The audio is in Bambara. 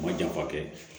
Ma janfa kɛ